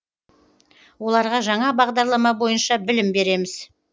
оларға жаңа бағдарлама бойынша білім береміз